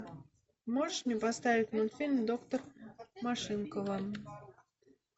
можешь мне поставить мультфильм доктор машинкова